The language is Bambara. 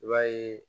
I b'a ye